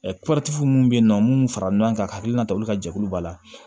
minnu bɛ yen nɔ minnu farala ɲɔgɔn kan ka hakilina ta olu ka jɛkulu b'a la